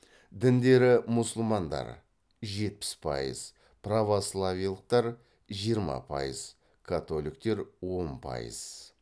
діндері мұсылмандар жетпіс пайыз православиелықтар жиырма пайыз католиктер он пайыз